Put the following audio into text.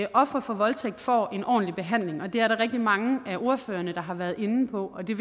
at ofre for voldtægt får en ordentlig behandling og det er der rigtig mange af ordførerne der har været inde på og det